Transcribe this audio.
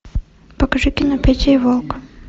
покажи кино петя и волк